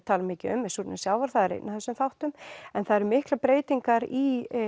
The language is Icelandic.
mikið um er súrnun sjávar það er einn af þessum þáttum en það eru miklar breytingar í